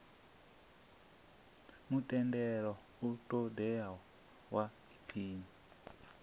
mutendelo u ṱoḓeaho wa aphili